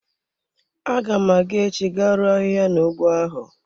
Aga m aga echi ga ruo ahịhịa na ụgbọ ahụ.